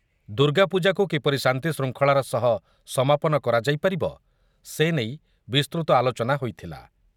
ଦୁର୍ଗାପୂଜାକୁ କିପରି ଶାନ୍ତିଶୃଙ୍ଖଳାର ସହ ସମାପନ କରାଯାଇ ପାରିବ, ସେ ନେଇ ବିସ୍ତୃତ ଆଲୋଚନା ହୋଇଥିଲା ।